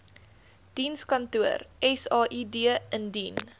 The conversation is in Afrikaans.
dienskantoor said indien